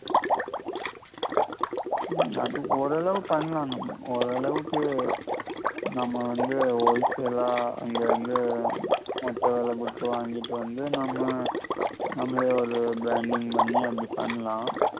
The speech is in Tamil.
உம் அது ஓரளவு பண்ணலாம் நம்ம ஓரளவுக்கு நம்ம வந்து all sell அ அங்கிருந்து மொத்த வெல குடுத்து வாங்கிட்டு வந்து நம்ம நம்மளே ஒரு branding பண்ணி அப்படி பண்ணலாம்